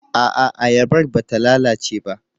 A'a, ayabar ba ta lalace ba.